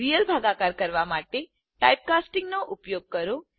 real ભાગાકાર કરવા માટે ટાઇપ કાસ્ટિંગ નો ઉપયોગ કરો